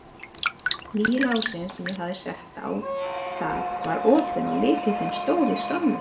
Nýi lásinn sem ég hafði sett á það var opinn og lykillinn stóð í skránni.